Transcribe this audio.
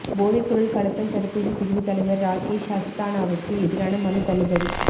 போதைப்பொருள் கடத்தல் தடுப்புப் பிரிவுத் தலைவா் ராகேஷ் அஸ்தானாவுக்கு எதிரான மனு தள்ளுபடி